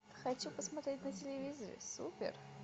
хочу посмотреть на телевизоре супер